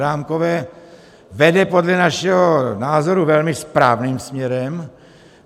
Adámkové vede podle našeho názoru velmi správným směrem.